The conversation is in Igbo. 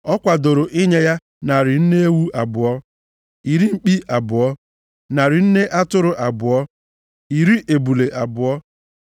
Ọ kwadoro inye ya: narị nne ewu abụọ (200), iri mkpi abụọ (20), narị nne atụrụ abụọ (200), iri ebule abụọ (20)